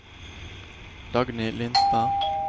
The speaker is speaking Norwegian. Dagny Lindstad